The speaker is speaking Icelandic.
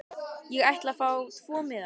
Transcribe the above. Ég ætla að fá tvo miða.